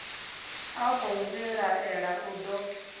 a khou vhilaela u do